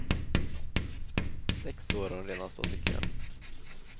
Sex år har hon redan stått i kön.